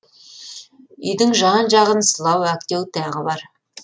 үйдің жан жағын сылау әктеу тағы бар